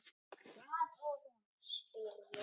Hvar er hún, spyr ég.